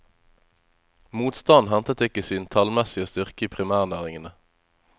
Motstanden hentet ikke sin tallmessige styrke i primærnæringene.